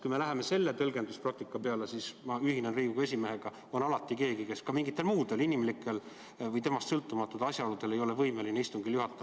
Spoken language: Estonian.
Kui me läheme sellise tõlgenduspraktika peale, siis ma ühinen Riigikogu esimehega: alati on keegi, kes mingitel muudel inimlikel või endast sõltumatutel asjaoludel ei saa istungil osaleda.